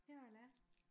Jeg er lærer